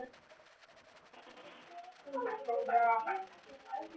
Hann sagðist hafna þér ef þú fylgdir mér.